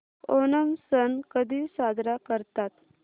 ओणम सण कधी साजरा करतात